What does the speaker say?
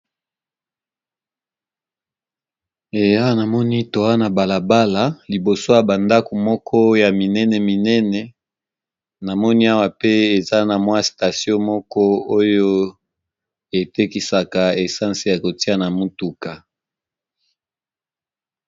Namoni na balabala na ba ndako minene minene, na station esika ba tekaka ba essences ya kotiya na mutuka.